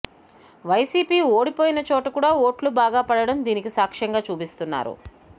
YCP ఓడిపోయిన చోటకూడా ఓట్లు బాగా పడటం దీనికి సాక్ష్యంగా చూపిస్తున్నారు